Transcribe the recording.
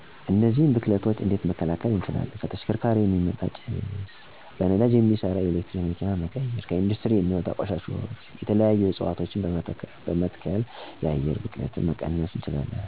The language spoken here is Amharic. እነዚህን ብክለቶች እንዴት መከላከል እንችላለን 1. ከተሽከርካሪዎች የሚወጡ ጭሶች፦ በነዳጅ የሚሠሩትን ወደ የኤሌክትሪክ መኪናነት መቀየር። 2. ከኢንዱስትሪ የሚወጡ ቆሻሾች፦ የተለያዩ እፅዋቶችን በመትከል የአየር ብክለትን መቀነስ እንችላለን። 3. ከቤቶች የሚወጡ ቆሻሾች፦ ለህብረተሰቡ ግንዛቤ በመስጠት፣ ትምህርት በማስተማር እና ተገቢ የሆነ የፍሳሽ አገልግሎት በመስራት የአካባቢውን ቆሻሻ ማስወገድ ይቻላን።